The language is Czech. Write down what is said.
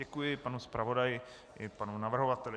Děkuji panu zpravodaji i panu navrhovateli.